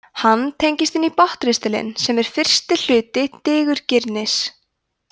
hann tengist inn í botnristilinn sem er fyrsti hluti digurgirnis